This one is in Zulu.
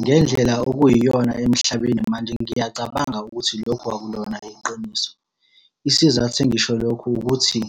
Ngendlela okuyiyona emhlabeni manje ngiyacabanga ukuthi lokho akulona iqiniso. Isizathu engisho lokhu ukuthi,